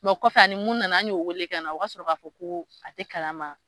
Mɛ o kɔfɛ a ni mun nana an y'o weele ka na o ka sɔrɔ k'a fɔ ko a tɛ kalama.